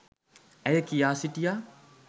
ඇය කියා සිටියා.